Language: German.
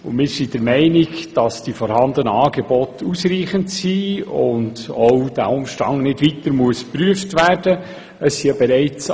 Wir sind der Meinung, dass die vorhandenen Angebote ausreichen und dieser Umstand auch nicht weiter geprüft werden muss.